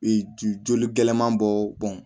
Ee joli gɛlɛman bɔ bɔn